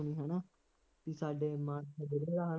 ਹੈ ਨਾ ਬਈ ਸਾਡੇ ਚ ਖੇਡਦਾ